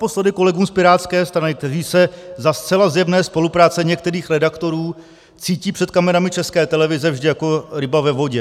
Naposledy kolegům z pirátské strany, kteří se za zcela zjevné spolupráce některých redaktorů cítí před kamerami České televize vždy jako ryba ve vodě.